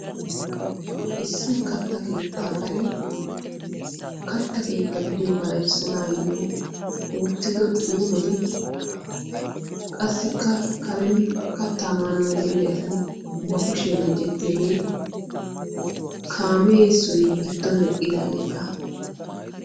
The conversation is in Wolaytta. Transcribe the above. issi a karen katta keetta gidiyoogaa erssanaayyo oottido xuufeti qassikka karen kattaa maanau gelee asi ba kushiya meecettiyaagee kamee so giddon eqqidaageekka.